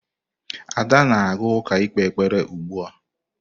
Ada na-aga uka ikpe ekpere ugbua.